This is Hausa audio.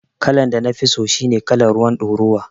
Kalan da nafi so shine kalan ruwar ɗoruwa